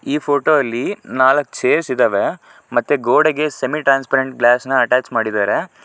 ಈ ಫೋಟೋದಲ್ಲಿ ಅಲ್ಲಿ ನಾಲ್ಕು ಚೇರ್ಸ್ ಇದವೆ ಮತ್ತೆ ಗೋಡೆಗೆ ಸೆಮಿಟ್ರಾನ್ಸ್ರಪರೆಂಟ್ಟ್ ಗ್ಲಾಸ್ ನ ಅಟ್ಟಚ್ ಮಾಡಿದರೆ.